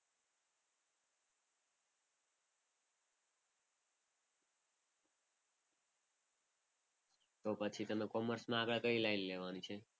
તો પછી કોમર્સમાં તમારે આગળ કઈ લાઈન લેવાની છે?